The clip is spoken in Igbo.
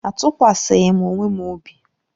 Atụkwaghị m onwe m obi.